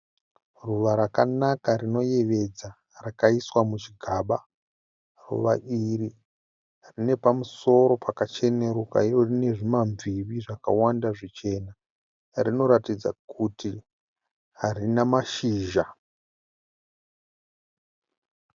Ruva rakanaka rinoyevedza rakaiswa muchigaba. Ruva iri rine pamusoro pakacheneruka iro rine zvimamviri zvakawanda zvichena. Rinoratidza kuti harina mashizha.